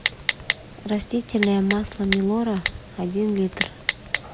растительное масло милора один литр